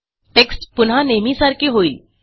text पुन्हा नेहमीसारखे होईल